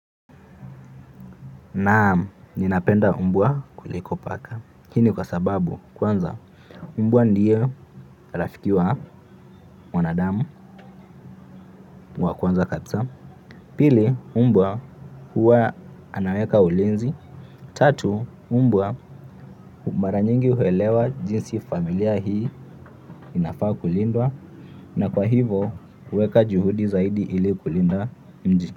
Naam, ninapenda mbwa kuliko paka. Hii ni kwa sababu kwanza mbwa ndiye rafiki wa mwanadamu wa kwanza kabisa. Pili mbwa huwa anaweka ulinzi. Tatu mbwa mara nyingi huelewa jinsi familia hii inafaa kulindwa. Na kwa hivo huweka juhudi zaidi ili kulinda mji.